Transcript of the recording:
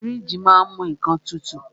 Fíríjì ma á ń mú nnkan tutù.